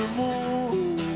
út